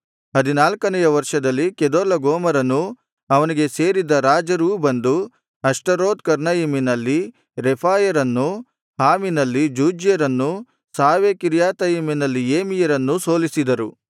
ಹದಿನಾಲ್ಕನೆಯ ವರ್ಷದಲ್ಲಿ ಕೆದೊರ್ಲಗೋಮರನೂ ಅವನಿಗೆ ಸೇರಿದ್ದ ರಾಜರೂ ಬಂದು ಅಷ್ಟರೋತ್ ಕರ್ನಯಿಮಿನಲ್ಲಿ ರೆಫಾಯರನ್ನೂ ಹಾಮಿನಲ್ಲಿ ಜೂಜ್ಯರನ್ನೂ ಶಾವೆಕಿರ್ಯಾತಯಿಮಿನಲ್ಲಿ ಏಮಿಯರನ್ನೂ ಸೋಲಿಸಿದರು